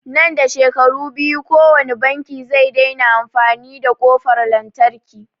Nan da shekara biyu kowani banki zai daina amfani da ƙofar lantarki